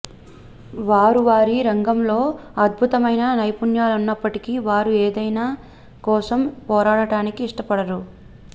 వారు వారి రంగంలో అద్భుతమైన నిపుణులైనప్పటికీ వారు ఏదైనా కోసం పోరాడటానికి ఇష్టపడరు